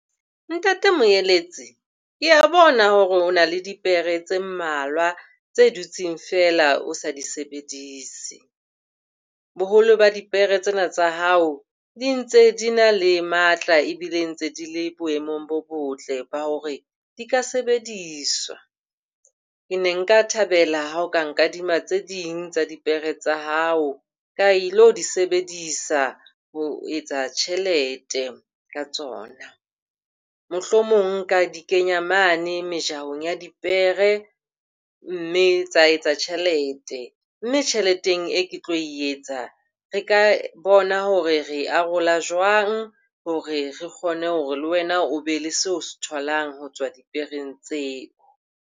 Ntate Moeletsi, ke a bona hore o na le dipere tse mmalwa tse dutseng feela o sa di sebedise. Boholo ba dipere tsena tsa hao di ntse di na le matla ebile ntse di le boemong bo botle ba hore di ka sebediswa. Ke ne nka thabela ha o ka nkadima tse ding tsa dipere tsa hao ka ilo di sebedisa ho etsa tjhelete ka tsona. Mohlomong nka di kenya mane mejahong ya dipere mme tsa etsa tjhelete. Mme tjheleteng eo ke tlo e etsa, re ka bona hore re e arolwa jwang hore re kgone hore le wena o be le seo o se tholang ho tswa dipereng tseo.